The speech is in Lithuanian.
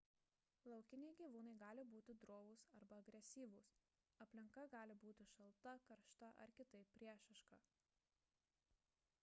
laukiniai gyvūnai gali būti drovūs arba agresyvūs aplinka gali būti šalta karšta ar kitaip priešiška